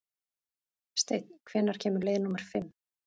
Steinn, hvenær kemur leið númer fimm?